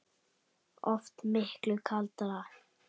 Oft miklu kaldara